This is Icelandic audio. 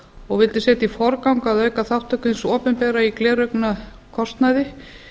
og vildi setja í forgang að auka þátttöku hins opinbera i gleraugnakostnaði